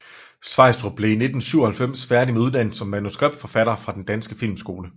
Sveistrup blev i 1997 færdig med uddannelsen som manuskriptforfatter fra Den Danske Filmskole